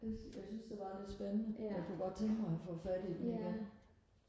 jeg jeg syntes det var lidt spændende jeg kunne godt tænke mig og få fat i den igen